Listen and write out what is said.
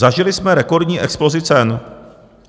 Zažili jsme rekordní explozi cen.